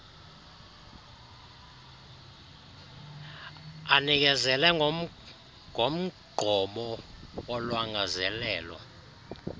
anikezele ngomgqomo wolwangazelelo